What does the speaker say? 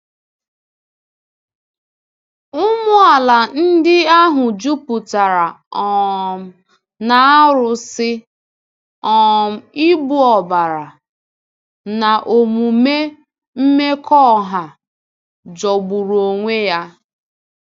Ụmụala ndị ahụ juputara um na arụsị, um igbu ọbara, na omume mmekọahụ jọgburu onwe ya.